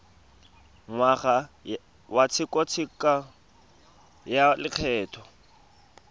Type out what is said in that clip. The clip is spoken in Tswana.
ngwaga wa tshekatsheko ya lokgetho